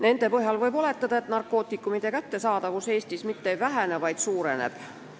Nende põhjal võib oletada, et narkootikumide kättesaadavus Eestis mitte ei vähene, vaid paraneb.